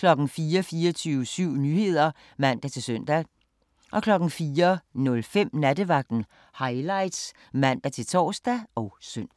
24syv Nyheder (man-søn) 04:05: Nattevagten Highlights (man-tor og søn)